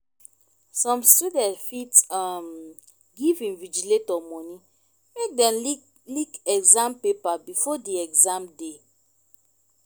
some student fit um give invigilator money make dem leak exam paper before di exam day